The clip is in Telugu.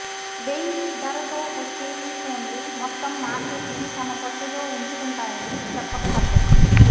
వెయ్యి ధరతో వచ్చే ఈ ఫోన్లు మొత్తం మార్కెట్నే తమ పట్టులో ఉంచుకుంటాయని చెప్పకతప్పదు